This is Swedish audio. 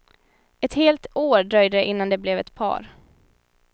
Ett helt år dröjde det innan de blev ett par.